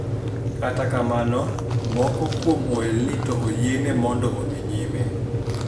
Kata kamano moko kuom ohelni to oyiene mondo odhi nyime